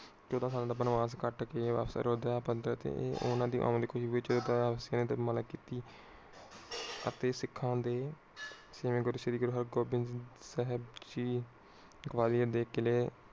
ਚੋਦਾਂ ਸਾਲ ਬਨਵਾਸ ਕਟ ਕੇ ਅਯੋਧਿਆ ਵਿਚ ਓਨਾ ਦੀ ਆਉਣ ਦੀ ਖੁਸ਼ੀ ਵਿਚ ਅਤੇ ਸਿਖਾਂ ਦੇ ਛੇਵੇਂ ਗੁਰੂ ਸ਼੍ਰੀ ਹਰਿਗੋਵਿੰਦ ਸਾਹਿਬ ਜੀ ਗਵਾਲੀਅਰ ਦੇ ਕਿਲ੍ਹੇ